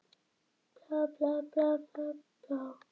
Hún og afi voru alvarleg.